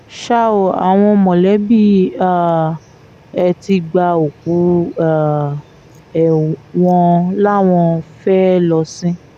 ṣá ò àwọn mọ̀lẹ́bí um ẹ ti gba òkú um ẹ wọ́n láwọn fẹ́ẹ́ lọ sìn ín